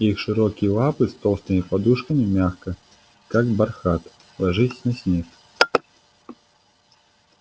их широкие лапы с толстыми подушками мягко как бархат ложились на снег